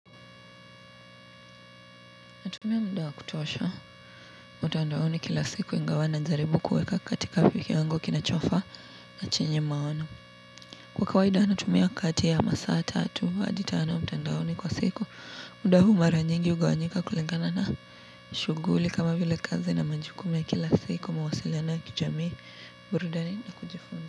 Natumia mda wa kutosha, mtandaoni kila siku ingawa najaribu kueka katika wiki wangu kinachofaa na chenye maono. Kwa kawaida natumia kati ya masaa tatu hadi tano mtandaoni kwa siku. Muda huu maranyingi ugawanyika kulingana na shuguli kama vile kazi na majukumu ya kila siku mawasiliano ya kijamii burudani na kujifunza.